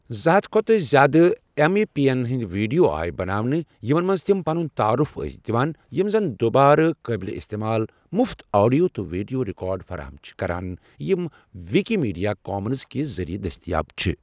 زٕ ہتھَ کھۄتہٕ زیادٕ ایٚم ایی پی یَن ہِنٛدۍ ویٖڈیو آیہٕ بناونہٕ یِمن منٛز تِم پنُن تعارُف ٲسۍ دِوان، یِم زن دُبارٕ قٲبلہِ اِستعمال مفت آڈیو تہٕ ویٖڈیو رِکارڈ فراہم چھِ کَران، یِم وِکِمیڈیا کامنز کہِ ذٔریعہٕ دٔستِیاب چھ